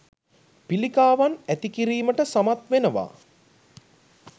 පිලිකාවන් ඇතිකිරීමට සමත් වෙනවා.